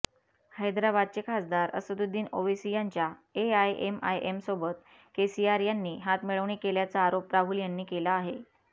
हैदराबादचे खासदार असदुद्दीन ओवैसी यांच्या एआयएमआयएमसोबत केसीआर यांनी हातमिळवणी केल्याचा आरोप राहुल यांनी केला आहे